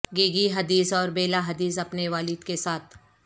گیگی Hadid اور Bella Hadid اپنے والد کے ساتھ